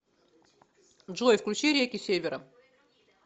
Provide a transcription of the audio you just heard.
джой включи реки севера